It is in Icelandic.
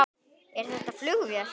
Er þetta flugvél?